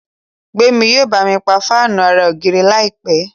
Gbemi yíò bámi pá Fáànù àrà ògiri láìpé.